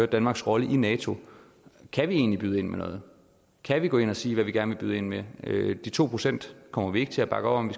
danmarks rolle i nato kan vi egentlig byde ind med noget kan vi gå ind og sige hvad vi gerne vil byde ind med de to procent kommer vi ikke til at bakke op om